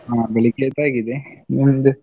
ಹ ಬೆಳಗೆಯದ್ದು ಆಗಿದೆ, ನಿಮ್ದು?